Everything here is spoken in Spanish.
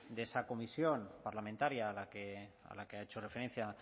de esa comisión parlamentaria a la que ha hecho referencia